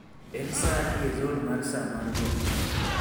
En saa adi e zon mar saa mar got